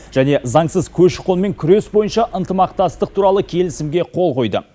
және заңсыз көші қонмен күрес бойынша ынтымақтастық туралы келісімге қол қойды